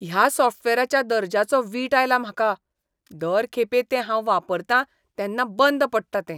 ह्या सॉफ्टवॅराच्या दर्ज्याचो वीट आयला म्हाका. दर खेपे तें हांव वापरतां तेन्ना बंद पडटा तें.